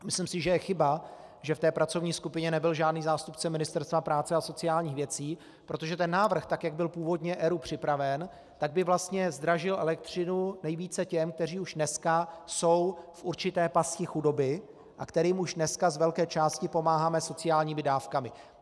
Myslím si, že je chyba, že v té pracovní skupině nebyl žádný zástupce Ministerstva práce a sociálních věcí, protože ten návrh, tak jak byl původně ERÚ připraven, tak by vlastně zdražil elektřinu nejvíce těm, kteří už dneska jsou v určité pasti chudoby a kterým už dneska z velké části pomáháme sociálními dávkami.